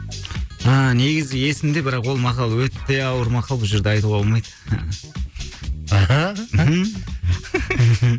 ааа негізі есімде бірақ ол мақал өте ауыр мақал бұл жерде айтуға болмайды